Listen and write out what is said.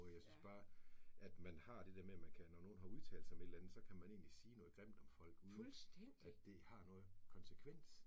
Jeg synes bare, at man har det der med, man kan, når nogen har udtalt sig om et eller andet, så kan man egentlig sige noget grimt om folk, uden at det det har noget konsekvens